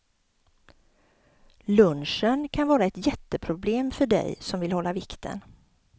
Lunchen kan vara ett jätteproblem för dig som vill hålla vikten.